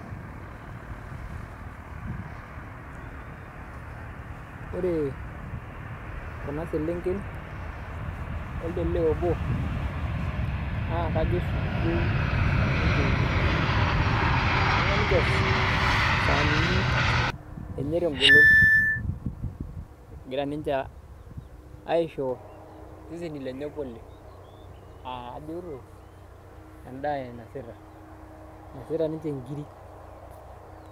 Ore kuna selenken o elde lee obo naa kajo sukukuu ninche etii ibung'a ninche isaanini enye te ngolon egira ninche aisho iseseni lenye pole aa ajito endaa inasita, inasita ninche nkiri.